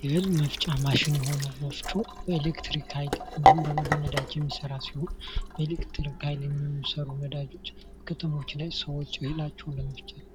የህል መፍጫ ማሽን የሆነው ወፍጮ በኤሌክትሪክ ሀይል እንዲሁም ደሞ በነዳጅ የሚሰራ ሲሆን በኤሌክትሪክ ሀይል የሚሰሩ ነዳጆች በከተሞች ላይ ሰዎች እህላቸውን ለመፍጨት